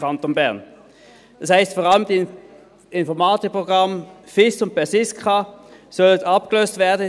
Das heisst, es sollen vor allem die beiden Informatikprogramme Finanzinformationssystem (FIS) und Personalinformationssystem (PERSISKA) abgelöst werden.